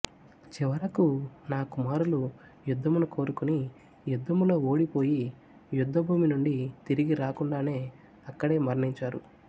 చివరకు నా కుమారులు యుద్ధమును కోరుకుని యుద్ధములో ఓడి పోయి యుద్ధభూమి నుండి తిరిగి రాకుండానే అక్కడే మరణించారు